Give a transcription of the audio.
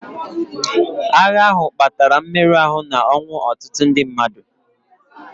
Agha ahụ kpatara mmerụ ahụ na ọnwụ ọtụtụ ndị mmadụ.